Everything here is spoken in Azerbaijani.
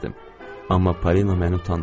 Amma Polina məni utandırır.